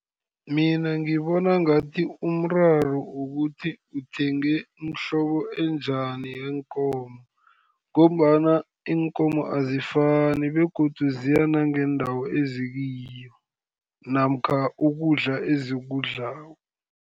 Mina ngibona ngathi umraro wokuthi uthenge umhlobo enjani yeenkomo, ngombana iinkomo azifani, begodu ziya nangeendawo ezikiyo, namkha ukudla ezikudlako.